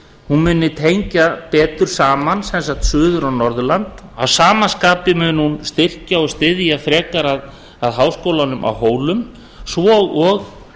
hún muni tengja betur saman suður og norðurland að sama skapi mun hún styrkja og styðja frekar að háskólanum á hólum svo og